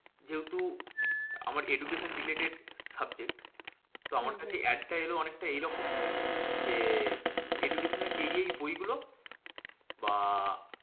যেহেতু আমার education related subject তো হম হম আমার কাছে ad টা এলো অনেকটা এইরকম যে, education এর এই এই বইগুলো বা